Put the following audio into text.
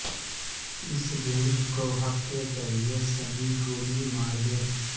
اس گیند کو ہپ کے ذریعے صحیح گولی مار دیں